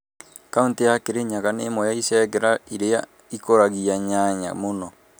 Kauntĩ ya Kĩrĩnyaga nĩ ĩmwe ya ĩcegerera ĩria ikũragia nyanya muno.